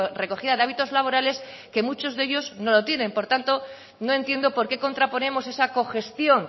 recogida de hábitos laborales que muchos de ellos no lo tienen por tanto no entiendo por qué contraponemos esa cogestión